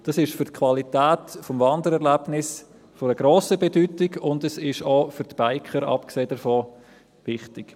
Das ist für die Qualität des Wandererlebnisses von grosser Bedeutung, und es ist, abgesehen davon, auch für die Biker wichtig.